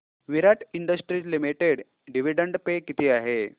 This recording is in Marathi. विराट इंडस्ट्रीज लिमिटेड डिविडंड पे किती आहे